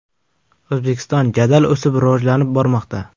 O‘zbekiston jadal o‘sib, rivojlanib bormoqda!